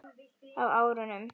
Á árunum